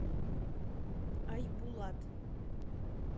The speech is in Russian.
айбулат